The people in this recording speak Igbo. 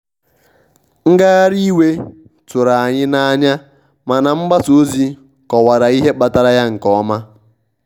ngagharị iwe tụrụ anyị n'anya mana mgbasa ozi kọwara ihe kpatara ya nke ọma.